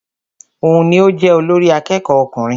Òun ní o jẹ olórí àkẹ́kọ̀ọ ọkùnrin.